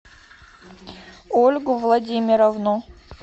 ольгу владимировну